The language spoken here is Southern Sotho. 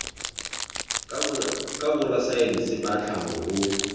ka borasaense ba tlhaho ho